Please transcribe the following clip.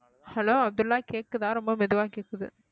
hello Abdullah கேக்குதா ரொம்ப மெதுவா கேட்குது